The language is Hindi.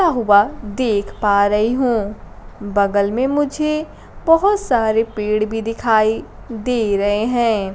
क्या हुआ देख पा रही हूं बगल में मुझे बहोत सारे पेड़ भी दिखाई दे रहे हैं।